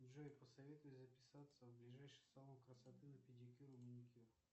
джой посоветуй записаться в ближайший салон красоты на педикюр и маникюр